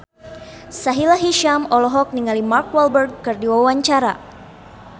Sahila Hisyam olohok ningali Mark Walberg keur diwawancara